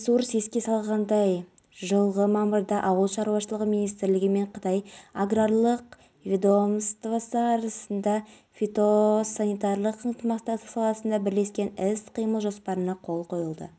арабиясы билігіне бөлінетін квота санын көбейтуді сұрап келе жатқанымен әзірге көңіл көншітерлік жауап ала алмаған